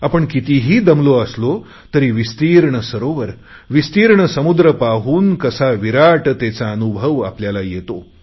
आपण कितीही दमलो असलो तरी विस्तीर्ण सरोवर विस्तीर्ण समुद्र पाहून कसा विराटतेचा अनुभव आपल्याला येतो